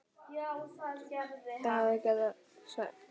Það hefði hann getað svarið.